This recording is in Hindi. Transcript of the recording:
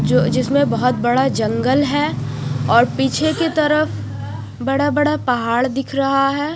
जो जिसमे बहुत बड़ा जंगल है और पीछे की तरफ बड़ा बड़ा पहाड़ दिख रहा है।